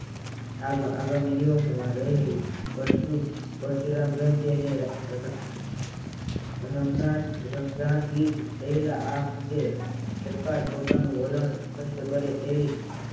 આગામી દિવસોમાં રહેલી પછી પરશુરામ જયંતિ અને રમજાન ઈદ આ રહેલા આ મુદ્દે રૂપિયા પોતાનો વલણ સ્પષ્ટ કરે તેવી